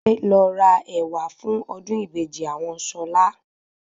Adé lo rà ẹ̀wà fún ọdún ìbejì àwọn Ṣọlá